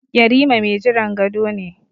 Yarima mai jiran gado ne.